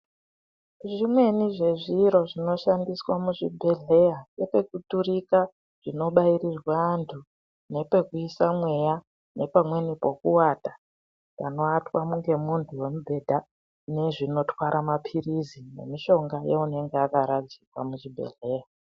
Zvimweni zvezviro zvinoshandiswa muzvibhedhleya Ngepekuturika zvinobairirwa antu nepekuise mweya nepamweni pekuwata panoatwa ngemuntu nemubhedha nezvinotwara mapirizi nemushonga yeunenge akaradzikwa muchibhedhleya.